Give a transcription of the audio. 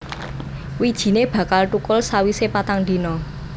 Wijine bakal thukul sawise patang dina